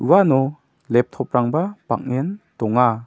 uano laptop-rangba bang·en donga.